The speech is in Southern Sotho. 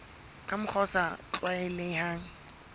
ka mokgwa o sa tlwaelehang